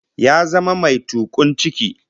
Ya zama mai tukun ciki